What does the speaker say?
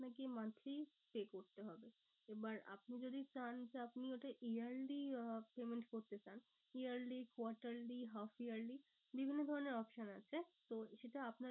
আপনাকে monthly pay করতে হবে। এবার আপনি যদি চান যে আপনি ওটা yearly আহ payment করতে চান yearly, quarterly, half yearly বিভিন্ন ধরণের option আছে। তো সেটা আপনার